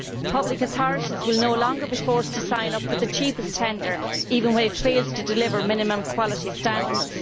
Public authorities will no longer be forced to sign up for the cheapest tender, even when it fails to deliver minimum quality standards.